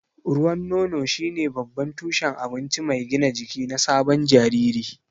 Ruwan nono shine babban tushen abinci mai gina jiki na sabon jariri.